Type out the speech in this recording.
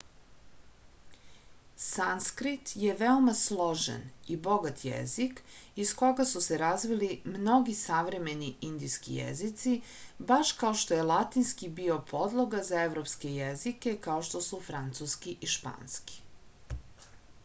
sanskrit je veoma složen i bogat jezik iz koga su se razvili mnogi savremeni indijski jezici baš kao što je latinski bio podloga za evropske jezike kao što su francuski i španski